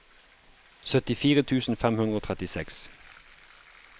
syttifire tusen fem hundre og trettiseks